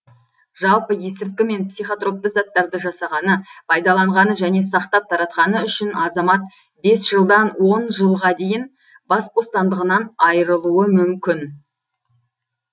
жалпы есірткі мен психотропты заттарды жасағаны пайдаланғаны және сақтап таратқаны үшін азамат бес жылдан он жылға дейін бас бостандығынан айырылуы мүмкін